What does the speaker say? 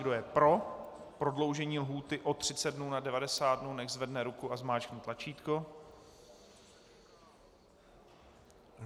Kdo je pro prodloužení lhůty o 30 dnů na 90 dnů, nechť zvedne ruku a zmáčkne tlačítko.